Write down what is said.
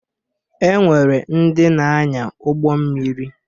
E nwere ndị na-anya ụgbọ mmiri